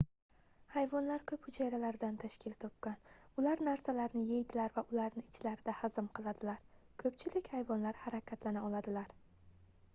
hayvonlar koʻp hujayralardan tashkil topgan ular narsalarni yeydilar va ularni ichlarida hazm qiladilar koʻpchilik hayvonlar harakatlana oladilar